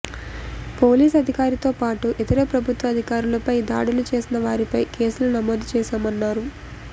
police అధికారితోపాటు ఇతర ప్రభుత్వ అధికారులపై దాడులు చేసిన వారిపై కేసులు నమోదు చేశామన్నారు